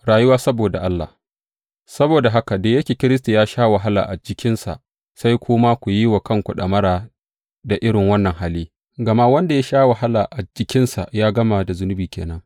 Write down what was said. Rayuwa saboda Allah Saboda haka, da yake Kiristi ya sha wahala a jikinsa, sai ku ma ku yi wa kanku ɗamara da irin wannan hali, gama wanda ya sha wahala a jikinsa ya gama da zunubi ke nan.